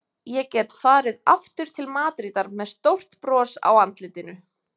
Ég get farið aftur til Madrídar með stórt bros á andlitinu.